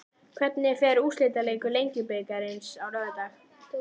Hvernig fer úrslitaleikur Lengjubikarsins á laugardag?